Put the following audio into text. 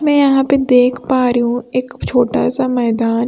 मैं यहां पे देख पा रही हूं एक छोटा सा मैदान--